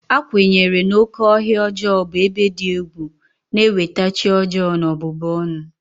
A kwenyere na "oke ọhịa ọjọọ" bụ ebe dị egwu na-eweta chi ọjọọ na ọbụbụ ọnụ.